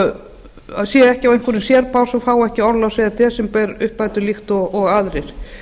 að atvinnulausir séu ekki á einhverjum sérbás og fái ekki orlofs eða desemberuppbætur líkt og aðrir